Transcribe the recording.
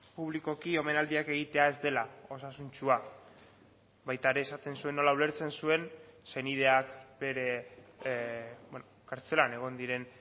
publikoki omenaldiak egitea ez dela osasuntsua baita ere esaten zuen nola ulertzen zuen senideak bere kartzelan egon diren